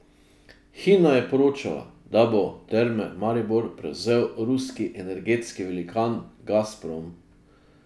Hina je poročala, da bo Terme Maribor prevzel ruski energetski velikan Gazprom.